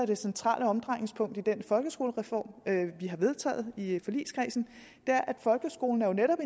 det centrale omdrejningspunkt i den folkeskolereform vi har vedtaget i forligskredsen er at folkeskolen jo netop